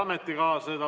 Head ametikaaslased!